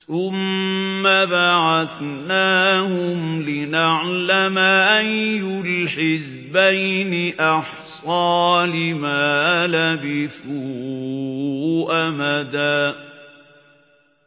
ثُمَّ بَعَثْنَاهُمْ لِنَعْلَمَ أَيُّ الْحِزْبَيْنِ أَحْصَىٰ لِمَا لَبِثُوا أَمَدًا